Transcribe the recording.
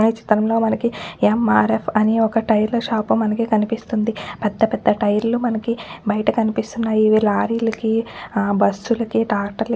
ఈ చిత్రం లో మనకి ఎం ఆర్ ఆఫ్ అని ఒక్క టైర్ ల షాప్ మనకి కనిపిస్తుంది. పెద్ద పెద్ద టైర్ లు మనకి బయట కనిపిస్తున్నాయి. ఇవి లారీ లకి ఆ బస్ లకి ట్రాక్టర్ --